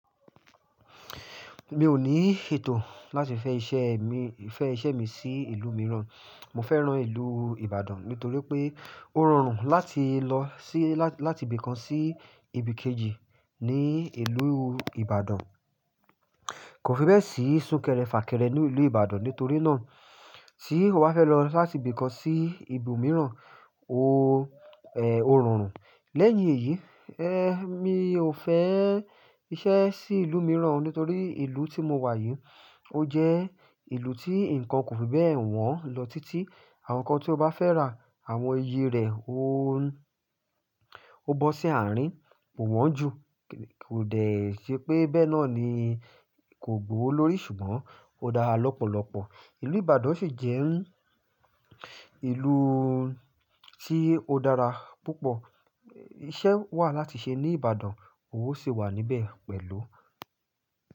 Mi ò ní ètò láti fẹ́ iṣẹ́ mi, fẹ́ iṣẹ́ mi sí ìlú mìíràn. Mo fẹ́rán ìlú Ibadan nítorí pé ó rọrùn láti lọ sí, láti ibìkan sí ibìkejì ní ìlú Ibadan. Kò fi bẹ́ẹ̀ sí súnkẹrẹ-fàkẹrẹ ní ìlú Ibadan nítorí náà tí ó bá fẹ́ lọ láti ibìkan sí ibòmíràn, ó rọrùn. Lẹ́yìn èyí, ẹ́, mi ò fẹ́ iṣẹ́ sí ìlú mìíràn nítorí ìlú tí mo wà yìí ó jẹ́ ìlú tí nǹkan kò fi bẹ́ẹ̀ wọ́n lọ títí. Àwọn nǹkan tí o bá fẹ́ rà, àwọn iye rẹ̀ ó, ó bọ́ sí àárín, kò wọ́n jù. Kò de ṣe pé bẹ́ẹ náà ni kò gbòwo lórí ṣùgbọ́n ó dára lọ́pọ̀lọpọ̀. Ìlú Ibadan sì jẹ́ ìlú tí ó dára púpọ̀. Iṣẹ́ wà láti ṣe ní Ibadan, owó sì wà níbẹ̀ pẹ̀lú.